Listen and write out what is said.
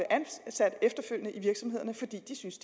ansat efterfølgende i virksomhederne fordi de synes